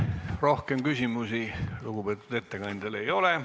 Rohkem küsimusi lugupeetud ettekandjale ei ole.